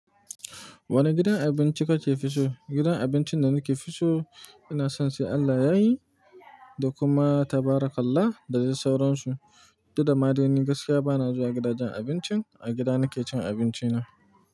Wane gidan abinci kake fi so? Gidan abincin da nake fi so ina son sai Allah yayi da kuma tabarakallah da dai sauran su. Duk da ma dai ni gaskiya bana zuwa gidajen abincin. A gida nake cin abinci na.